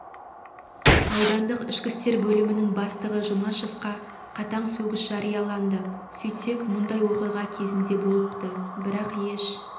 аудандық ішкі істер бөлімінің бастығы жұмашевқа қатаң сөгіс жарияланыды сөйтсек мұндай оқиға кезінде болыпты бірақ еш